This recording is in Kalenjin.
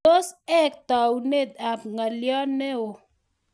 tos ek taunet ab ngalyo neo